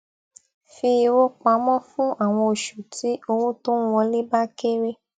fi owó pamọ fún àwọn oṣù tí owó tó ń wọlé bá kéré